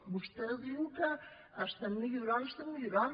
vostè diu que estem millorant estem millorant